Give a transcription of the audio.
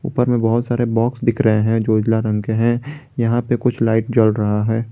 उपर में बहुत सारे बॉक्स दिख रहे हैं जो उजला रंग के हैं यहां पे कुछ लाइट जल रहा है।